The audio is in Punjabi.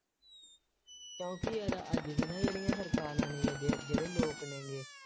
ਕਿਉਂਕਿ ਯਾਰ ਅੱਜ ਦੀਆਂ ਨਾ ਜਿਹੜੀਆਂ ਸਰਕਾਰਾਂ ਨੇ ਜਿਹੜੇ ਜਿਹੜੇ ਲੋਕ ਨੇ ਗੇ,